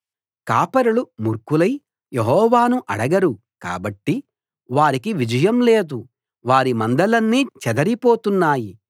కాపరులు మూర్ఖులై యెహోవాను అడగరు కాబట్టి వారికి విజయం లేదు వారి మందలన్నీ చెదరిపోతున్నాయి